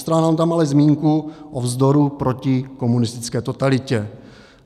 Postrádám tam ale zmínku o vzdoru proti komunistické totalitě.